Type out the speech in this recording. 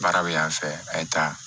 Baara bɛ yan fɛ a ye taa